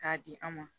K'a di an ma